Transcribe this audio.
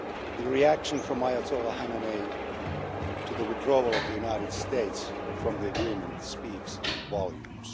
The reaction from Ayatollah Khamenei to the withdrawal of the United States from the agreement speaks volumes.